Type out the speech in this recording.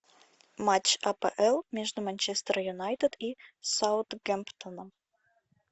матч апл между манчестер юнайтед и саутгемптоном